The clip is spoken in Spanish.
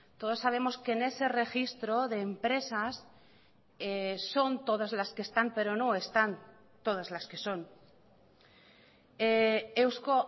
todos sabemos que en ese registro de empresas son todas las que están pero no están todas las que son eusko